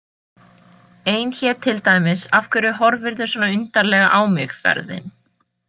Ein hét til dæmis Af hverju horfirðu svona undarlega á mig- ferðin.